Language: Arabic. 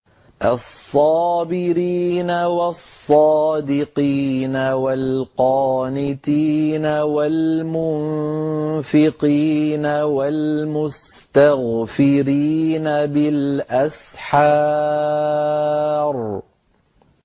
الصَّابِرِينَ وَالصَّادِقِينَ وَالْقَانِتِينَ وَالْمُنفِقِينَ وَالْمُسْتَغْفِرِينَ بِالْأَسْحَارِ